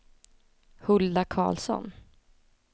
Hulda Karlsson